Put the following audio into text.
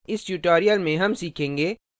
इस tutorial में हम सीखेंगे